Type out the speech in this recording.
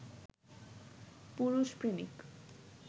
পুরুষ প্রেমিক